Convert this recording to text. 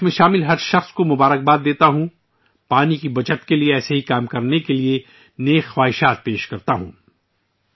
میں ، اس میں شامل تمام لوگوں کو مبارکباد دیتا ہوں اور پانی کے تحفظ کے لیے ، اسی طرح کے کام کرنے کے لیے نیک خواہشات کا اظہار کرتا ہوں